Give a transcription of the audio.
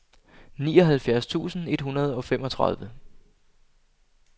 nioghalvfjerds tusind et hundrede og femogtredive